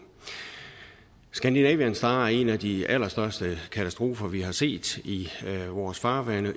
scandinavian star er en af de allerstørste katastrofer vi har set i vores farvande